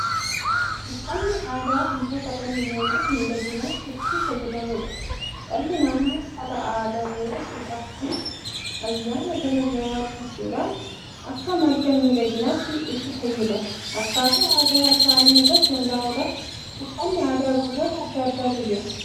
Uffanni aadaa wantoota dhalli namaa midhaaginnaaf itti fayyadamuudha. Dhalli namaa uffata aadaa yeroo cidhaa fi ayyaana garaa garaa uffachuudhaan akka madda midhaaginnatti itti fayyadama. Akkaataa aadaa isaanii irratti hundaa'uudhaan uffanni aadaa gosoota addaa addaattu jira.